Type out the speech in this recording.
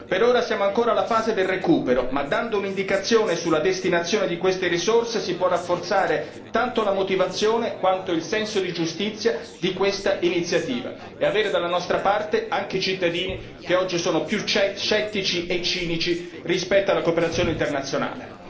Per ora siamo ancora alla fase del recupero, ma dando un'indicazione sulla destinazione di queste risorse si può rafforzare tanto la motivazione quanto il senso di giustizia di quest'iniziativa e avere dalla nostra parte anche i cittadini che oggi sono più scettici e cinici rispetto alla cooperazione internazionale.